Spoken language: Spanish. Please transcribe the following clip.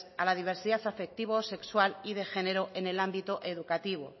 a la diversidad afectivo sexual y de género en el ámbito educativo